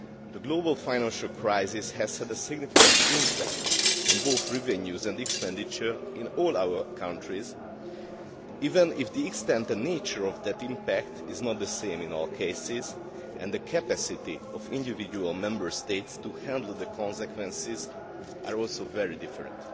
The global financial crisis has had a significant impact on both revenues and expenditure in all our countries, even if the extent and nature of that impact is not the same in all cases and the capacity of individual Member States to handle the consequences is also very different.